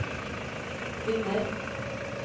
vinner